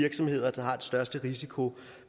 virksomheder der har den største risiko